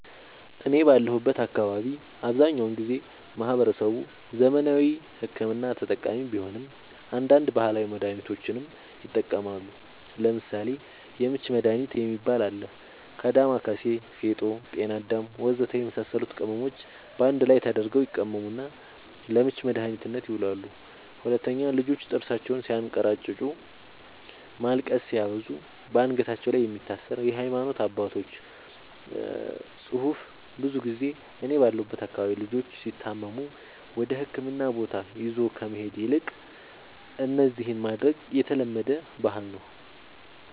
እኔ ባለሁበት አካባቢ አብዛኛውን ጊዜ ማህበረሰቡ ዘመናዊ ሕክምና ተጠቃሚ ቢሆንም አንዳንድ ባህላዊ መድሃኒቶችንም ይጠቀማሉ ለምሳሌ:- የምች መድሃኒት የሚባል አለ ከ ዳማከሲ ፌጦ ጤናአዳም ወዘተ የመሳሰሉት ቅመሞች ባንድ ላይ ተደርገው ይቀመሙና ለምች መድኃኒትነት ይውላሉ 2, ልጆች ጥርሳቸውን ስያንከራጭጩ ማልቀስ ሲያበዙ ባንገታቸው ላይ የሚታሰር የሃይማኖት አባቶች ፅሁፍ ብዙ ጊዜ እኔ ባለሁበት አካባቢ ልጆች ሲታመሙ ወደህክምና ቦታ ይዞ ከመሄድ ይልቅ እነዚህን ማድረግ የተለመደ ባህል ነዉ